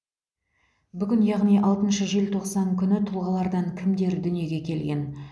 бүгін яғни алтыншы желтоқсан күні тұлғалардан кімдер дүниеге келген